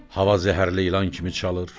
Hava zəhərli ilan kimi çalır,